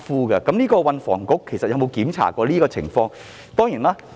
就此，運房局有否審視過有關情況？